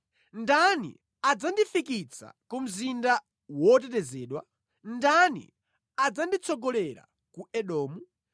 Ndani adzandifikitsa ku mzinda wotetezedwa? Ndani adzanditsogolera ku Edomu?